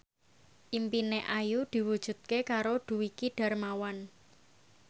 impine Ayu diwujudke karo Dwiki Darmawan